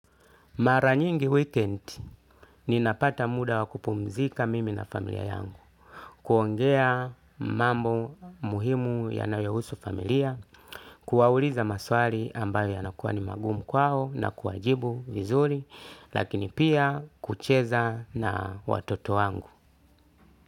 Mara nyingi weekend ninapata muda wa kupumzika mimi na familia yangu kuongea mambo muhimu yanayouhusu familia kuwauliza maswali ambayo yanakuwa ni magumu kwao na kuajibu vizuri, lakini pia kucheza na watoto wangu.